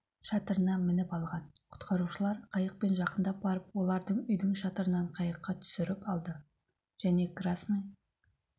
шатырына мініп алған құтқарушылар қайықпен жақындап барып олардың үйдің шатырынан қайыққа түсіріп алды және қрасный